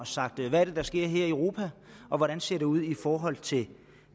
sagt hvad er det der sker her i europa og hvordan ser det ud i forhold til